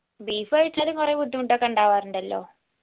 beef കഴിച്ചാലും കൊറേ ബുദ്ധിമുട്ടൊക്കെ ഉണ്ടാവാറുണ്ടല്ലോ